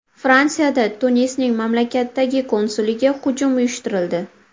Fransiyada Tunisning mamlakatdagi konsuliga hujum uyushtirildi.